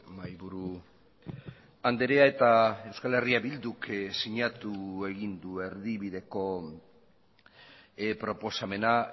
mahaiburu andrea eta euskal herria bilduk sinatu egin du erdibideko proposamena